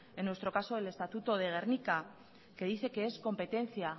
en nuestro caso el estatuto de gernika que dice que es competencia